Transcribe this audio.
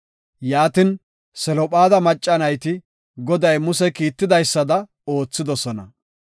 Yaatin, Selophaada macca nayti Goday Muse kiitidaysada oothidosona.